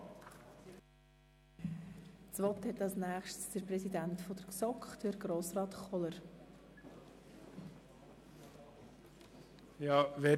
Als Nächstes hat der Kommissionspräsident, Grossrat Kohler, das Wort.